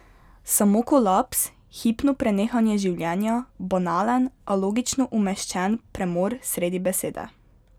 Samo kolaps, hipno prenehanje življenja, banalen, a logično umeščen premor sredi besede.